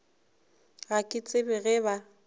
ga ke tsebe ge ba